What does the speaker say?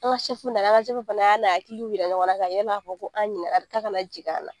An ka fana y'a n'a hakiliw jira ɲɔgɔn na n'a fɔ ko an ɲinɛna k'a kana jigin an na